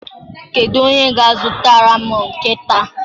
Kedu onye ga-azụtara m nkịta?